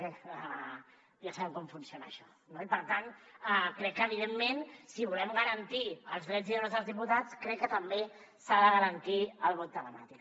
bé ja sabem com funciona això no i per tant crec que evidentment si volem garantir els drets i deures dels diputats crec que també s’ha de garantir el vot telemàtic